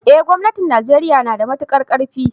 eh gomnatin Najeriya nada matuƙar karfi.